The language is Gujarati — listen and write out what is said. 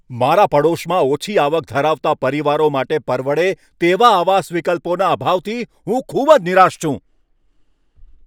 મારા પડોશમાં ઓછી આવક ધરાવતા પરિવારો માટે પરવડે તેવા આવાસ વિકલ્પોના અભાવથી હું ખૂબ જ નિરાશ છું.